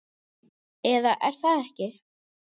Eða er það ekki?